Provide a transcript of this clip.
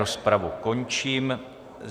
Rozpravu končím.